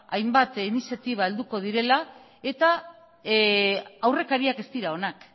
hainbat iniziatiba helduko direla eta aurrekariak ez dira onak